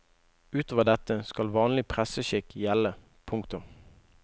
Utover dette skal vanlig presseskikk gjelde. punktum